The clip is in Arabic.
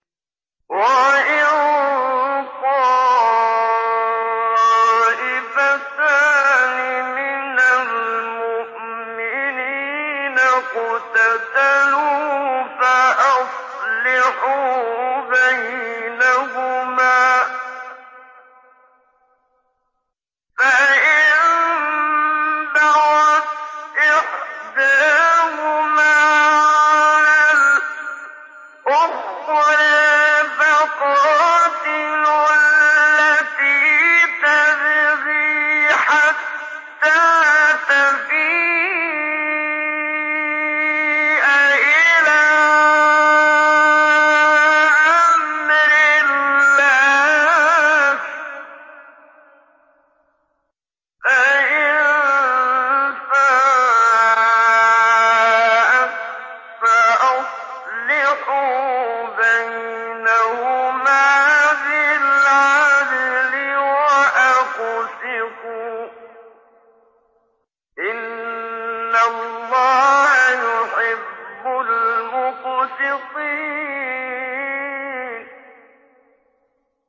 وَإِن طَائِفَتَانِ مِنَ الْمُؤْمِنِينَ اقْتَتَلُوا فَأَصْلِحُوا بَيْنَهُمَا ۖ فَإِن بَغَتْ إِحْدَاهُمَا عَلَى الْأُخْرَىٰ فَقَاتِلُوا الَّتِي تَبْغِي حَتَّىٰ تَفِيءَ إِلَىٰ أَمْرِ اللَّهِ ۚ فَإِن فَاءَتْ فَأَصْلِحُوا بَيْنَهُمَا بِالْعَدْلِ وَأَقْسِطُوا ۖ إِنَّ اللَّهَ يُحِبُّ الْمُقْسِطِينَ